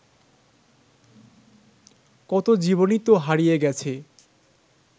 কত জীবনই তো হারিয়ে গেছে